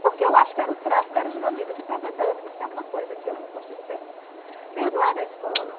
porque eu acho que era o tráfico, era os bandidos que estavam andando, que isso é uma coisa que eu não consigo perdoar perdoar da escola.